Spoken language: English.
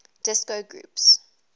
disco groups